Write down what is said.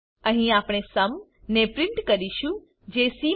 અહી આપણે સુમ ને પ્રિન્ટ કરીશું જે સી મા